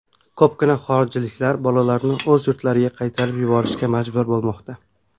Ko‘pgina xorijliklar bolalarini o‘z yurtlariga qaytarib yuborishga majbur bo‘lmoqda.